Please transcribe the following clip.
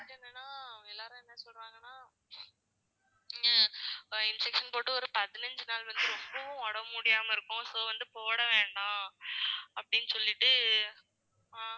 எனக்கு வந்து என்னன்னா எல்லாரும் என்ன சொல்றாங்கன்னா injection போட்டு ஒரு பதினைஞ்சு நாள் வந்து ரொம்பவும் உடம்பு முடியாம இருக்கும் so வந்து போட வேண்டாம் அப்படின்னு சொல்லிட்டு ஆஹ்